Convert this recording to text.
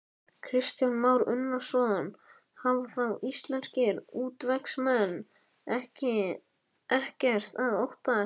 Kristján Már Unnarsson: Hafa þá íslenskir útvegsmenn ekkert að óttast?